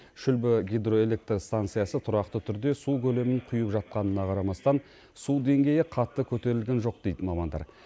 шүлбі гидроэлектр станциясы тұрақты түрде су көлемін құйып жатқанына қарамастан су деңгейі қатты көтерілген жоқ дейді мамандар